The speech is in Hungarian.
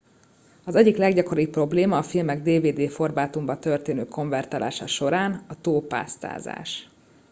az egyik leggyakoribb probléma a filmek dvd formátumba történő konvertálása során a túlpásztázás